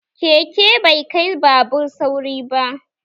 Keke bai kai babur sauri ba